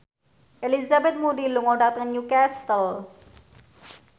Elizabeth Moody lunga dhateng Newcastle